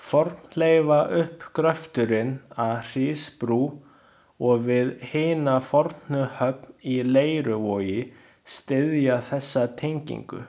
Fornleifauppgröfturinn að Hrísbrú og við hina fornu höfn í Leiruvogi styðja þessa tengingu.